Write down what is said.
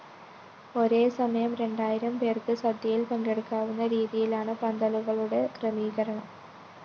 ഒരേസമയം രണ്ടായിരം പേര്‍ക്ക് സദ്യയില്‍ പങ്കെടുക്കാവുന്ന രീതിയിലാണ് പന്തലുകളുകളുടെ ക്രമീകരണം